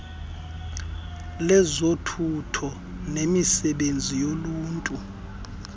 lezothutho nemisebenzi yoluntu